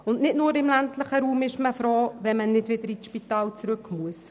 Zudem ist man nicht nur im ländlichen Raum froh, wenn man nicht wieder ins Spital zurückgehen muss.